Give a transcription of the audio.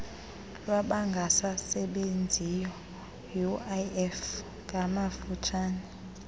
lwabangasasebenziyo uif ngamafutshane